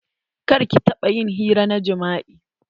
Kar ƙi taɓa ƴin hira na jima'i.